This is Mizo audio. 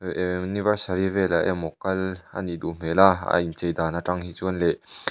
ehh anniversary vela emaw kal anih duh hmelh a a in chei dan ah hi chuan leh --